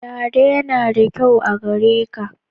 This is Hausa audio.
Dada yana da kyau a gare ka